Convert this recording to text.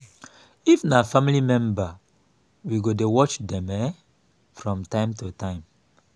if na family member we go dey watch dem um from time to time